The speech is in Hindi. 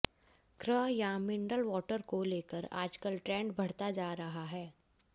क्रह्र या मिनरल वॉटर को लेकर आजकल ट्रेंड बढ़ता जा रहा है